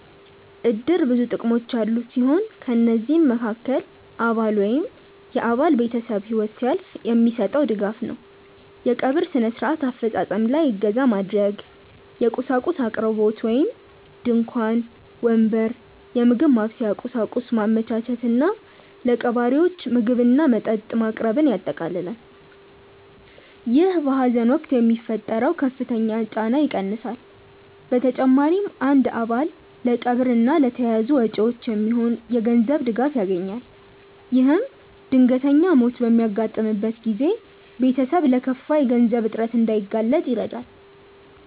እድር ብዙ ጥቅሞች ያሉት ሲሆን ከነዚህም መሃከል አባል ወይም የአባል ቤተሰብ ህይወት ሲያልፍ የሚሰጠው ድጋፍ ነው። የቀብር ስነ-ስርዓት አፈፃፀም ላይ እገዛ ማድረግ፣ የቁሳቁስ አቅርቦት (ድንኳን፣ ወንበር፣ የምግብ ማብሰያ ቁሳቁስ) ማመቻቸት እና ለቀባሪዎች ምግብና መጠጥ ማቅረብን ያጠቃልላል። ይህ በሀዘን ወቅት የሚፈጠረውን ከፍተኛ ጫና ይቀንሳል። በተጨማሪም አንድ አባል ለቀብር እና ለተያያዙ ወጪዎች የሚሆን የገንዘብ ድጋፍ ያገኛል። ይህም ድንገተኛ ሞት በሚያጋጥምበት ጊዜ ቤተሰብ ለከፋ የገንዘብ እጥረት እንዳይጋለጥ ይረዳል።